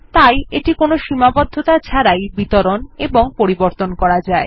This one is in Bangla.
তাই এটি কোনো সীমাবদ্ধতা ছাড়াই বিতরণ এবং পরিবর্তন করা যায়